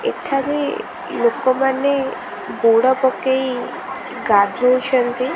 ଏଠାରେ ଲୋକମାନେ ବୁଡ଼ ପକେଇ ଗାଧୋଉଛନ୍ତି।